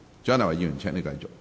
蔣麗芸議員，請繼續發言。